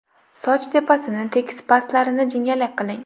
Soch tepasini tekis pastlarini jingalak qiling.